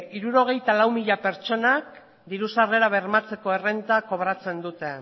hirurogeita hamalau mila pertsonak diru sarrera bermatzeko errenta kobratzen dute